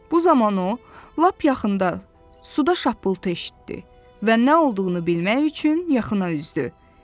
Bu zaman o, lap yaxında suda şappıltı eşitdi və nə olduğunu bilmək üçün yaxına üzdü.